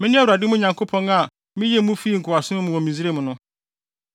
“Mene Awurade, mo Nyankopɔn, a miyii mo fii nkoasom mu wɔ Misraim no.